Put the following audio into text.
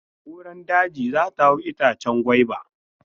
Kuran daji za ta hau itacen gwaiba.